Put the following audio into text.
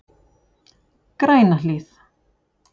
Grænahlíð